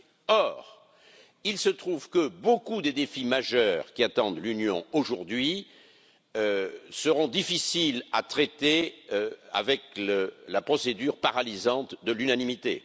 Or, il se trouve que bon nombre de défis majeurs qui attendent l'Union aujourd'hui seront difficiles à traiter avec la procédure paralysante de l'unanimité.